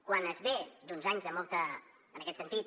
quan es ve d’uns anys de molta en aquest sentit